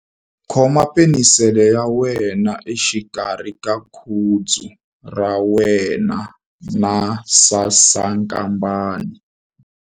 Khoma penisele ya wena exikarhi ka khudzu ra wena na sasankambana.